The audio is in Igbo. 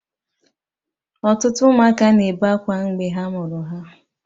Ọtụtụ ụmụaka na-ebe akwa mgbe ha mụrụ ha.